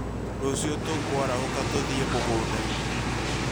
Rũciũ tũkũarahũka tũthiĩ mũgũndainĩ